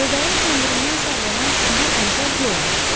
Lövbərin kəndirindən sallanan iri əntər yerə aşdı.